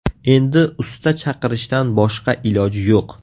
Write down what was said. Endi usta chaqirishdan boshqa iloj yo‘q.